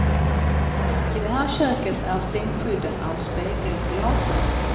I det här köket är stänkskydden av spegelglas.